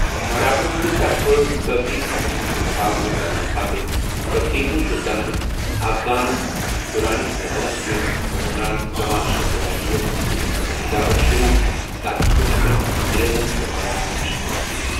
مراٹھن ہندِ طرفہٕ کٲفی خطرُن ہُند مُقابلہٕ کرنہٕ پتہٕ كٕر ٹیپوٗ سُلطانن افغان دُرانی سلطنت كِس حکمران زمان شاہ دُرانی یَس سۭتۍ خط و کتابت شروٗع، تاکہِ تِم ہیكہن انگریزن تہٕ مراہٹھن شکست دِتھ ۔